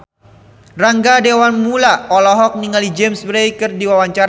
Rangga Dewamoela olohok ningali James Bay keur diwawancara